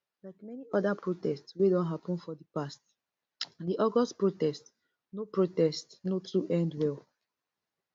like many oda protests wey don happun for di past di august protest no protest no too end well